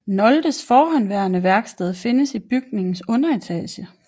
Noldes forhenværende værksted findes i bygningens underetage